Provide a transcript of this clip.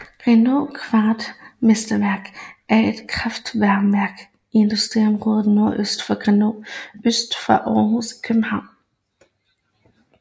Grenaa kraftvarmeværk er et kraftvarmeværk i et industriområde nordøst for Grenaa øst for Aarhus i Danmark